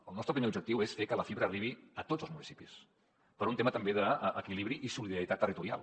el nostre primer objectiu és fer que la fibra arribi a tots els municipis per un tema també d’equilibri i solidaritat territorial